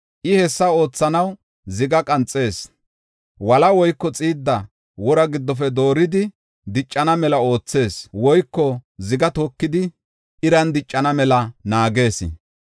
I hessa oothanaw ziga qanxees; wola woyko xiidda wora giddofe dooridi diccana mela oothees. Woyko ziga tokidi iran diccana mela naagees.